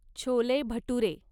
chole bhature